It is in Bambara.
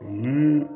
Mun